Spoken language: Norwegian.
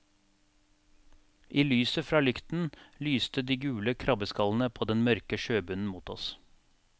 I lyset fra lykten lyste de gule krabbeskallene på den mørke sjøbunnen mot oss.